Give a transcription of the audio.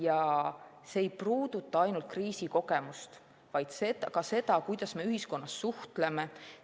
Ja see ei puuduta ainult kriisikogemust, vaid ka seda, kuidas me ühiskonnas suhtleme.